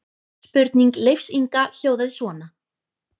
Spurning Leifs Inga hljóðaði svona: